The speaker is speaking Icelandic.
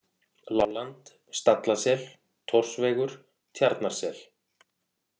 Láland, Stallasel, Thorsvegur, Tjarnarsel